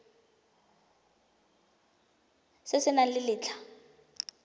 se se nang le letlha